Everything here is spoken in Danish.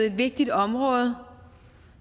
et vigtigt område